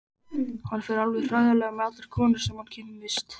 Hann fer alveg hræðilega með allar konur sem hann kynnist.